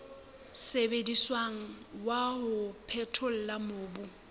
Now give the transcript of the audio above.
sebediswang wa ho phethola mobu